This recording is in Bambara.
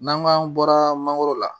N'an k'an bɔra mangoro la